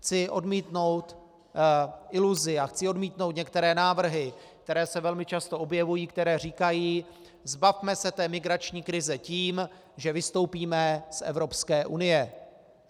Chci odmítnout iluzi a chci odmítnout některé návrhy, které se velmi často objevují, které říkají: Zbavme se té migrační krize tím, že vystoupíme z Evropské unie.